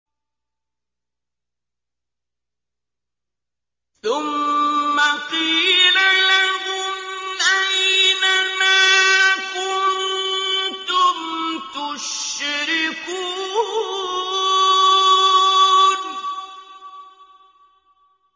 ثُمَّ قِيلَ لَهُمْ أَيْنَ مَا كُنتُمْ تُشْرِكُونَ